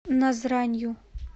назранью